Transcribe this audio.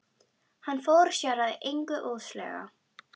Hann fór sér að engu óðslega.